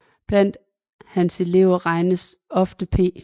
Blandt hans elever regnes ofte P